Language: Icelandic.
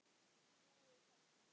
Trúið þið þessu?